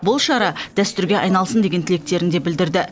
бұл шара дәстүрге айналсын деген тілектерін де білдірді